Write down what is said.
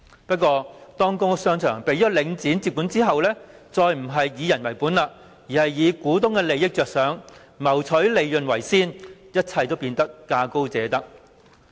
不過，當公屋商場被領展接管後，便不再"以人為本"，而是以股東的利益着想，謀取利潤為先，一切變成價高者得。